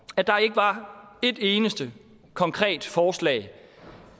at der ikke var et eneste konkret forslag